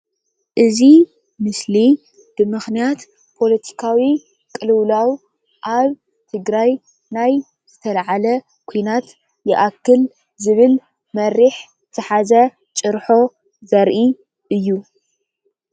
አዚ ምስሊ ብምኽንያት ፖለቲካዊ ቅልዉላው ኣብ ትግራይ ናይ ዝተልዓለ ኲናት ይኣክል ዝብል መሪሕ ዝሓዘ ጭርሖ ዘርኢ እዩ፡፡